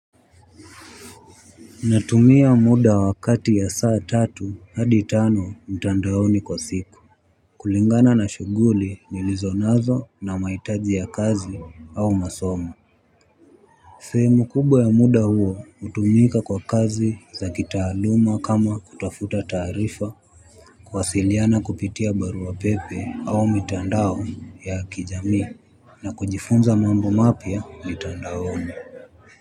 Natumia muda wakati ya saa tatu hadi tano mtandaoni kwa siku. Kulingana na shughuli nilizonazo na mahitaji ya kazi au masomo. Sehemu kubwa ya muda huo hutumika kwa kazi za kitaaluma kama kutafuta taarifa kuwasiliana kupitia barua pepe au mitandao ya kijamii na kujifunza mambo mapya mtandaoni.